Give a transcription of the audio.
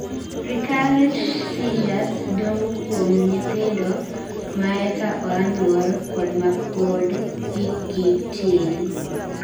Recurrent seizures dongo kuon nyithindo maeka oa nyuol kod mapod hikgi tin